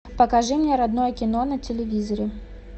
покажи мне родное кино на телевизоре